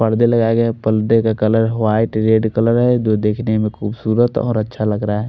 परदे लगाया गया है परदे का कलर वाइट रेड कलर है जो देखने में खुबसूरत और अच्छा लग रहा है।